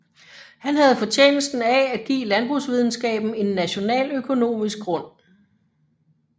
Han havde fortjenesten af at give landbrugsvidenskaben en nationaløkonomisk grund